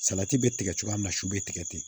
Salati bɛ tigɛ cogoya min su be tigɛ ten